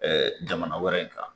jamana wɛrɛ kan